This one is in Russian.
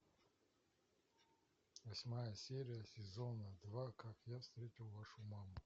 восьмая серия сезона два как я встретил вашу маму